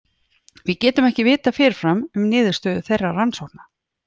Við getum ekki vitað fyrirfram um niðurstöður þeirra rannsókna.